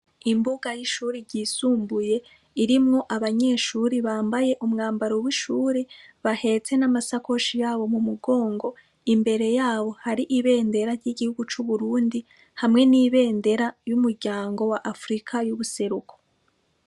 Imbuga y'ishuri ryisumbuye irimwo abanyeshuri bambaye umwambaro w'ishuri bahetse n'amasakoshi yabo mu mugongo, imbere yabo hari ibendera ry'igihugu c'Uburundi hamwe n'ibendera y'umuryango wa afirika y'ubuseruko.